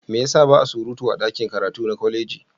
Me ya sa ba a surutu a ɗakin karatu na kwaleji?